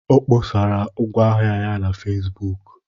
Ọ kpọsara ngwaahịa ya na Fesbuku